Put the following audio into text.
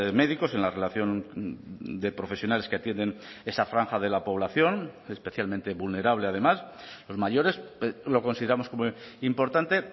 médicos en la relación de profesionales que atienden esa franja de la población especialmente vulnerable además los mayores lo consideramos como importante